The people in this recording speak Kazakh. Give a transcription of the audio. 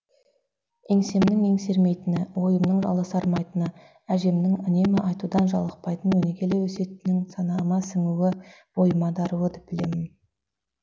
еңсемнің еңсермейтіні ойымның аласырмайтыны әжемнің үнемі айтудан жалықпайтын өнегелі өсиетінің санама сіңуі бойыма даруы деп білемін